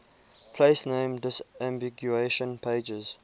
place name disambiguation pages